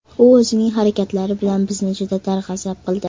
U o‘zining harakatlari bilan bizni juda darg‘azab qildi.